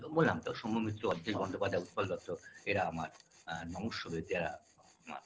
বললাম তো সৌম্য মিত্র অজিতেশ বন্দোপাধ্যায় উৎপল দত্ত এরা আমার নমস্য ব্য যা আমার